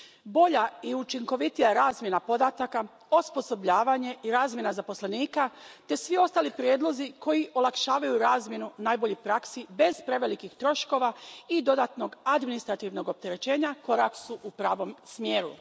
Bolja i učinkovitija razmjena podataka, osposobljavanje i razmjena zaposlenika te svi ostali prijedlozi koji olakšavaju razmjenu najboljih praksi bez prevelikih troškova i dodatnog administrativnog opterećenja korak su u pravom smjeru.